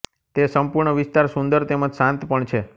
તે સંપૂર્ણ વિસ્તાર સુંદર તેમ જ શાંત પણ છે